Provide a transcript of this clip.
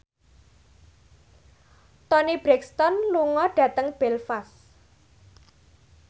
Toni Brexton lunga dhateng Belfast